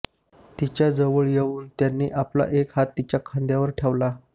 तिच्याजवळ येऊन त्यांनी आपला एक हात तिच्या खांद्यावर ठेवला